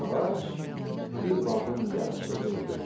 Bu ağac bir bağın yaraşığı idi.